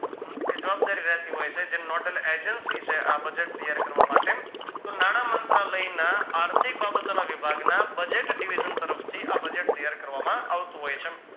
કે જવાબદારી રેહતી હોય છે જેમ નોટ અને agency છે આ budget ત્યાર કરવા માટે તો નાણાંમંત્રલયના આર્થિક બાબતોના વિભાગના budget Divide તરફથી આ budget ત્યાર કરવામાં આવતું હોય છે